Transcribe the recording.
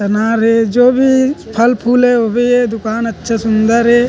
अनार हे जो भी फल फूल हे वो भी हे दुकान अच्छा सुन्दर हे।